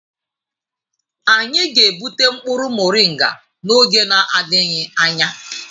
Anyị ga-egbute mkpụrụ moringa n'oge adịghị anya.